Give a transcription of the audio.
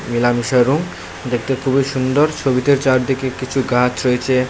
মেলামেশা রুং দেখতে খুবই সুন্দর ছবিতে চারদিকে কিছু গাছ রয়েছে।